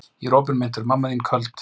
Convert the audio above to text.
Ég opinmynntur, mamma þín köld.